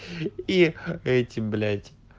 и эти блять